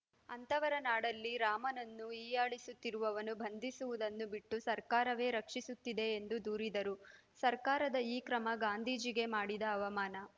ಅಂತವರ ನಾಡಲ್ಲಿ ರಾಮನನ್ನು ಹೀಯಾಳಿಸುತ್ತಿವವರನ್ನು ಬಂಧಿಸುವುದನ್ನು ಬಿಟ್ಟು ಸರ್ಕಾರವೇ ರಕ್ಷಿಸುತ್ತಿದೆ ಎಂದು ದೂರಿದರು ಸರ್ಕಾರದ ಈ ಕ್ರಮ ಗಾಂಧೀಜಿಗೆ ಮಾಡಿದ ಅವಮಾನ